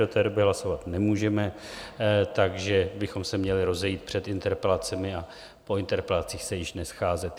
Do té doby hlasovat nemůžeme, takže bychom se měli rozejít před interpelacemi a po interpelacích se již nescházet.